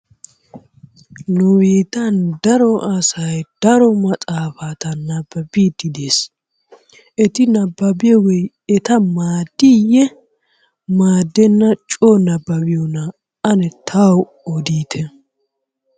Nu biittan daro asay daro maxaafati nababbide de'ees. Eti nababbiyogee eta maaddiye? Maadena coo nababbiyoona? ane tawu odite.